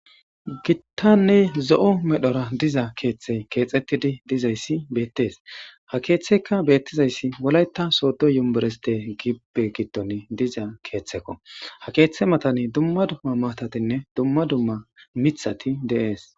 Gittanne zo'o medhora diza keeththe keexettidi dizayssi beettes ha keeththeykka beettizayssi wolayta soodo yumbureste gibbe gitton diza keeththekko ha keeththe matani dumma dumma matatinne dumma dumma mithati deees.